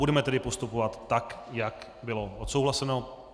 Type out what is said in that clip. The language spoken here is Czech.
Budeme tedy postupovat tak, jak bylo odsouhlaseno.